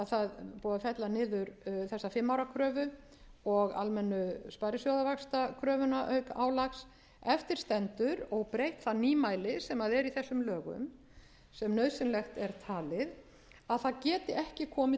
þessa fimm ára kröfu og almennu sparisjóðavaxtakröfuna auk álags eftir stendur óbreytt það nýmæli sem er í þessum lögum sem nauðsynlegt er talið að það geti ekki komið